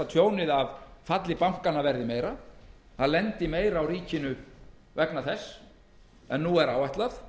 tjónið af falli bankanna verði meira meira lendi á ríkinu vegna þess en nú er áætlað